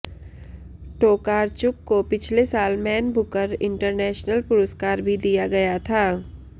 Tokarczuk को पिछले साल मैन बुकर इंटरनेशनल पुरस्कार भी दिया गया था